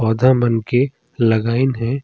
पौधा मन के लगइन हे।